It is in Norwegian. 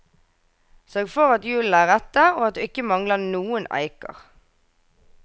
Sørg for at hjulene er rette og at du ikke mangler noen eiker.